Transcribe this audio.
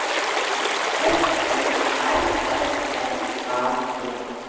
F O R S L A G